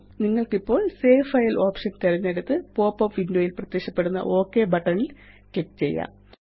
നിങ്ങള്ക്കിപ്പോള് save file option തിരഞ്ഞെടുത്ത് popup window യില് പ്രത്യക്ഷപ്പെടുന്ന ഒക് ബട്ടൺ ല് ക്ലിക്ക് ചെയ്യാം